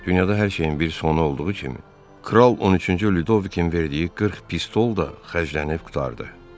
Dünyada hər şeyin bir sonu olduğu kimi kral 13-cü Lüdovikin verdiyi 40 pistol da xərclənib qurtardı.